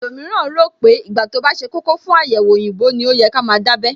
Àwọn ẹlòmíràn rò pé ìgbà tí ó bá ṣe kókó fún àyẹ̀wò òyìnbó ní ó yẹ ká máa dábẹ́